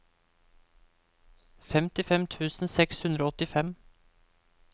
femtifem tusen seks hundre og åttifem